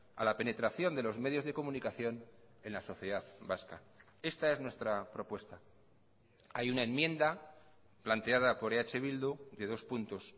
a la penetración de los medios de comunicación en la sociedad vasca esta es nuestra propuesta hay una enmienda planteada por eh bildu de dos puntos